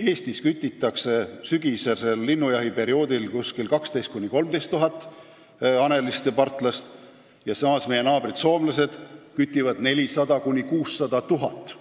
Eestis kütitakse sügisesel linnujahiperioodil tõepoolest 12 000 – 13 000 hanelist ja partlast, samal ajal kui meie naabrid soomlased kütivad 400 000 – 600 000.